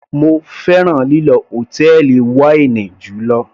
Mo fẹ́ràn lílọ hòtẹ́ẹ̀lì wáínì jùlọ.